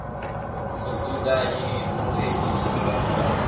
a mudzudzanyi mueditha wa gurannḓa